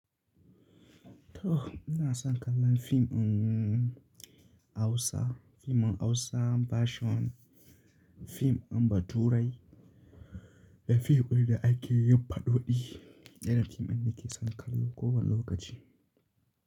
To ina son kallon fim in Hausa, fim in Hausa version fim in baturai da fim da ake yin faɗoɗi. Irin fim ɗin nake son kallo kowane lokaci.